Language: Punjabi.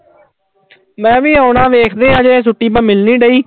ਮੈਂ ਵੀ ਆਉਣਾ ਵੇਖਦੇ ਹਾਂ ਹਜੇ ਛੁੱਟੀ ਤਾਂ ਮਿਲ ਨੀ ਰਹੀ।